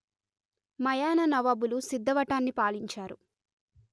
మయానా నవాబులు సిద్ధవటాన్ని పాలించారు